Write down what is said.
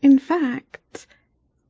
инфаркт